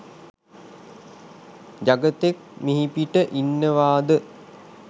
ජගතෙක් මිහිපිට ඉන්නවාද?